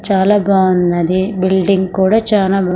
చాలా బాగున్నది బిల్డింగ్ కూడా చానా.